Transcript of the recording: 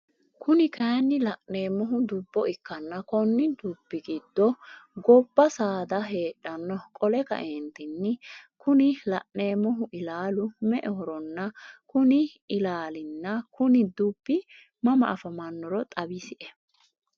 Kuni kaayiinni laneemohu dubbo ikkanna Konni dubbi giddo gobba saada heedhanno qole kaeentinni Kuni laneemmohh ilaalu me'ehoronna Kuni ilaalinna Kuni dubbi mama afamannoro xawisie?